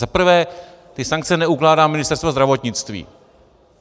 Za prvé, ty sankce neukládá Ministerstvo zdravotnictví.